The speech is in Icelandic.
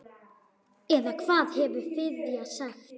Eða hvað hefði Friðjón sagt?